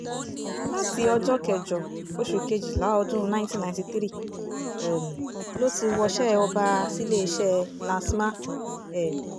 láti ọjọ́ kẹjọ oṣù kejìlá ọdún nineteen ninety three um ló ti wọṣẹ́ ọba síléeṣẹ́ lastma um